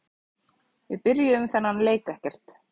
Við byrjuðum þennan leik ekkert.